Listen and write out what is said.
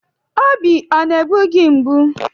Obi ọ na-egbu gị mgbu?